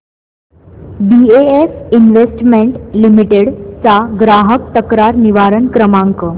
BF investment limited चा ग्राहक तक्रार निवारण क्रमांक